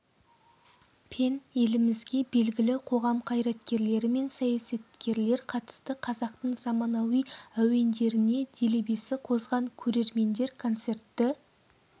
пен елімізге белгілі қоғам қайраткерлері мен саясаткерлер қатысты қазақтың заманауи әуендеріне делебесі қозған көрермендер концертті